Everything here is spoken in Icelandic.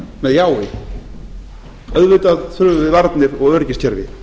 með jái auðvitað þurfum við varnir og öryggiskerfi